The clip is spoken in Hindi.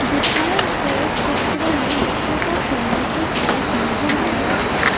दिखाए गए चित्र में बच्चों का खेलने की चीज नजर आ रहा है।